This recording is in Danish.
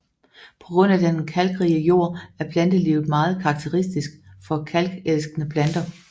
På grund af den kalkrige jord er plantelivet meget karakteristisk for kalkelskende planter